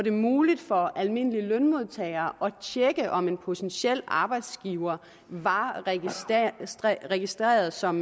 muligt for almindelige lønmodtagere at tjekke om en potentiel arbejdsgiver var registreret som